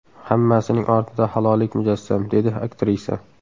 Hammasining ortida halollik mujassam”, dedi aktrisa.